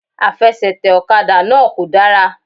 Àfesètè òkadà náà kò dára